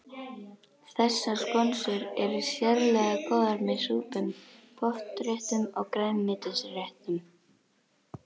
Þessar skonsur eru sérlega góðar með súpum, pottréttum og grænmetisréttum.